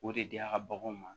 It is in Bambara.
O de diya ka baganw